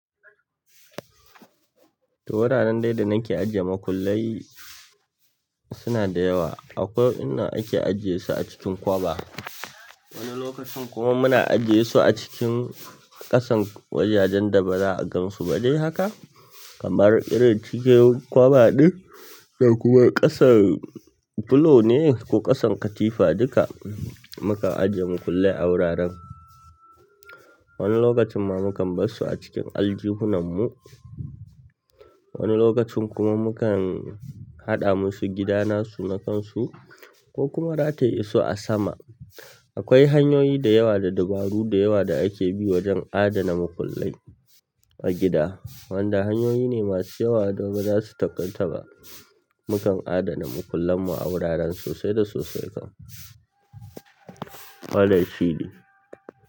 Wuraren dai da nake ajiye makullai suna da yawa. Akwai inda ake ajiye su a cikin kwaɓa. Wani lokacin kuma muna ajiye su a cikin ƙasan wajajen da ba za'a gan su ba. Dai haka kamar irin cikin kwaɓa ɗin da kuma ƙasan filo ne ko ƙasan katifa duka mukan ajiye makullai a wuraren. Wani lokacin ma mukan bar su a cikin aljihunan mu. Wani lokacin kuma mukan haɗa musu gida nasu na kan su ko kuma rataye su a sama. Akwai hanyoyi da yawa da dabaru da yawa da ake bi wajen adana makullai a gida. Wanda hanyoyi ne masu yawa da ba za su takaitaba. Mukan adana makullan mu a wuraren sosai da sosai kam. Wannan shine.